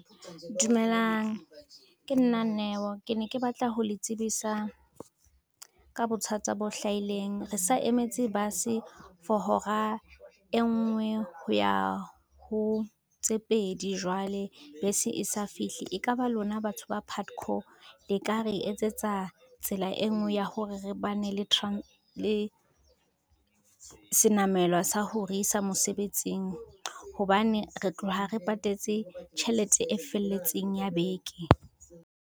Dumelang ke nna Neo ke ne ke batla ho le tsebisa, ka bothata bo hlahileng re sa emetse bus for hora e nngwe ho ya ho tse pedi jwale bese e sa fihle, e ka ba lona batho ba PUTCO le ka re etsetsa tsela e nngwe ya hore re bane le, senamelwa sa hore isa mosebetsing hobane re tloha re patetse tjhelete e felletseng ya beke.